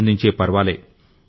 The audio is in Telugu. పెంపొందించే పర్వాలే